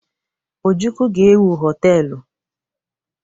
Ojukwu ga-ewu họtelụ.